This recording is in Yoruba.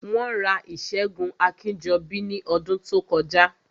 Wọ́n ra ìṣẹ́gun Akínjọbí ní ọdún tó kọjá